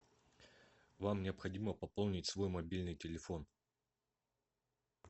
вам необходимо пополнить свой мобильный телефон